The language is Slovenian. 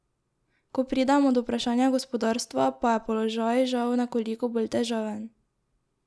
Ko pridemo do vprašanja gospodarstva, pa je položaj žal nekoliko bolj težaven.